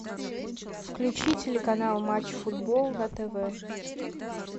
включи телеканал матч футбол на тв